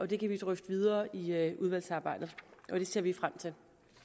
det kan vi drøfte videre i udvalgsarbejdet og det ser vi frem til